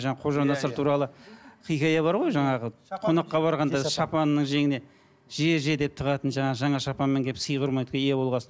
қожанасыр туралы хикая бар ғой жаңағы қонаққа барғанда шапанның жеңіне же же деп тығатын жаңағы жаңа шапанмен келіп сый құрметке ие болған соң